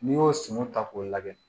N'i y'o sunɔgɔ ta k'o lajɛ